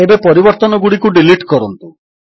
ଏବେ ପରିବର୍ତ୍ତନଗୁଡ଼ିକୁ ଡିଲିଟ୍ କରନ୍ତୁ